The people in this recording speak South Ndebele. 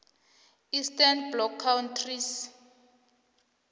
eastern bloc countries